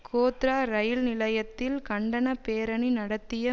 கோத்ரா ரயில் நிலையத்தில் கண்டன பேரணி நடத்திய